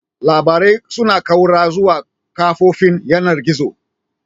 Labarai suna ƙaura zuwa kafofin yanar gizo.